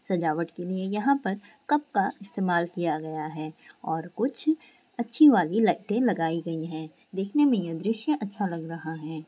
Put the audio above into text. सजावट के लिए यहाँ परकप का इस्तमाल किया गया है और कुछ अच्छी वाली लाइट लगाई गई है देखने में यह दृश्य अच्छा लग रहा है।